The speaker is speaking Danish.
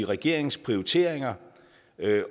regeringens prioriteringer